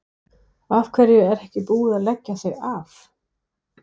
Af hverju er ekki búið að leggja þau af?